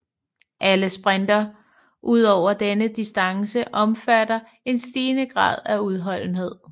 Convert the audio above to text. Alle sprinter udover denne distance omfatter en stigende grad af udholdenhed